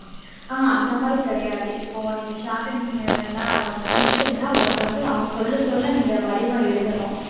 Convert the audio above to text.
ஆஹ் அந்த மாதிரி கிடையாது இப்போ நீங்க shorthand எல்லாம் முடிச்சிட்டீங்கன்னா உங்களுக்கு வந்து அவங்க சொல்ல சொல்ல நீங்க வடிவம் எழுதணும்